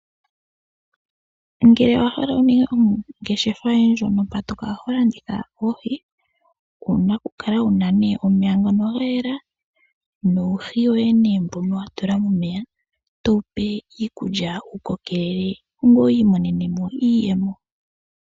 Ngele owa hala okuninga ongeshefa yoye ndjono mpa to kala ho landitha oohi, owuna okukala wuna nee omeya ngono ga yela nuuhi woye nee mbono wa tula momeya, towu pe iikulya wu kokelele, ngweye wi imonene mo iiyemo.